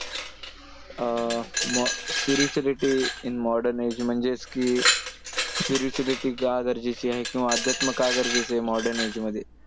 Uh spirituality in modern age म्हणजेच की spirituality का गरजेची आहे किंवा अध्यात्म का गरजेचं आहे modern age मध्ये.